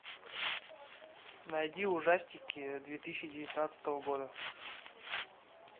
найди ужастики две тысячи девятнадцатого года